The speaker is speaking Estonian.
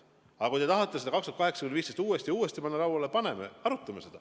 Aga kui te tahate seda 2008–2015 toimunut uuesti lauale panna, siis paneme, arutame.